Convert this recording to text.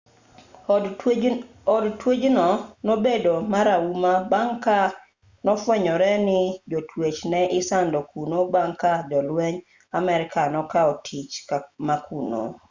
od twech no nobedo marahuma bang' ka nofwenyore ni jotwech ne isando kuno bang' ka jolwenj amerka nokao tich ma kuno